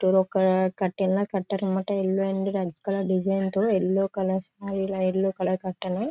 ఇక్కడ ఒక కర్టైన్ లాగా కట్టారని మాట ఎల్లో అండ్ రెడ్ కలర్ డిజైన్తో యెల్లో కలర్ ఇలా యెల్లో కలర్ కర్టైన్ .